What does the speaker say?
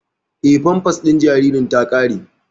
Eh, famfas din jaririn ta ƙare